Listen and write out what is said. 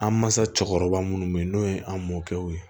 An mansa cɛkɔrɔba minnu bɛ yen n'o ye an mɔkɛw ye